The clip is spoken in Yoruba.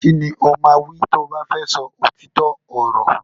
Kini o ma wí ti o ba fẹ sọ òtítọ ọrọ.